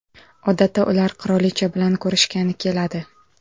Odatda ular qirolicha bilan ko‘rishgani keladi.